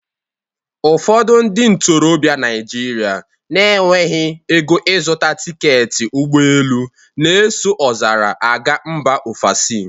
Ụfọdụ ndị ntorobịa Naijiria na-enweghị ego ịzuta tiketi ụgbọelu na-eso ọzara a gaa mba ofesi